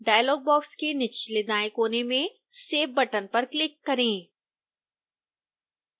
dialogue box के निचलेदाएं कोने में save बटन पर क्लिक करें